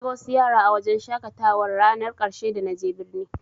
Naga wasu yara a wajen shaƙatawar rannar ƙarshe da na je birni.